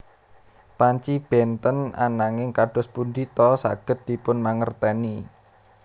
Panci bènten ananging kados pundi ta saged dipun mangertèni